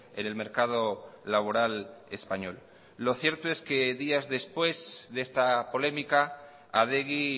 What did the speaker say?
en el mercado laboral español lo cierto es que días después de esta polémica adegi